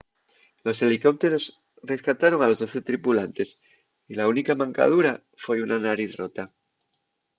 los helicópteros rescataron a los doce tripulantes y la única mancadura foi una nariz rota